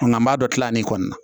Nka an b'a dɔ tila nin kɔni na